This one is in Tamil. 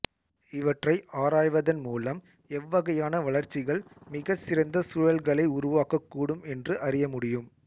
இவற்றை ஆராய்வதன் மூலம் எவ்வகையான வளர்ச்சிகள் மிகச் சிறந்த சூழல்களை உருவாக்கக் கூடும் என்று அறிய முடியும்